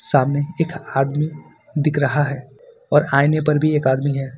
सामने एक आदमी दिख रहा है और आईने पर भी एक आदमी है।